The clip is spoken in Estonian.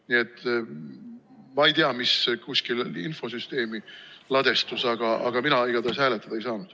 Nii et ma ei tea, mis infosüsteemi ladestus, aga mina igatahes hääletada ei saanud.